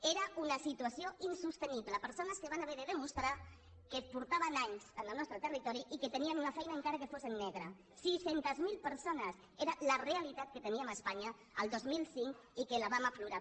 era una situació insostenible persones que van haver de demostrar que feia anys que eren en el nostre territori i que tenien una feina encara que fos en negre sis cents miler persones era la realitat que teníem a espanya el dos mil cinc i que la vam aflorar